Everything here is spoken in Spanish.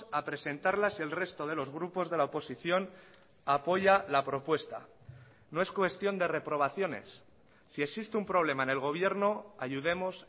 a presentarla si el resto de los grupos de la oposición apoya la propuesta no es cuestión de reprobaciones si existe un problema en el gobierno ayudemos